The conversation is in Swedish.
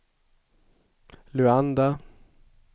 Luanda